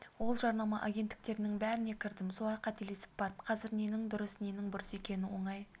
ол жарнама агенттіктерінің бәріне кірдім солай қателесіп барып қазір ненің дұрыс ненің бұрыс екенін оңай